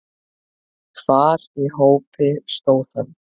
Hvar í hópi stóð hann?